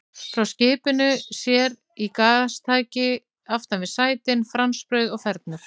Frá skipinu sér í gastæki aftan við sætin, franskbrauð og fernur.